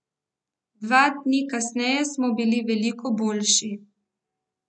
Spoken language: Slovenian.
Dva dni kasneje smo bili veliko boljši.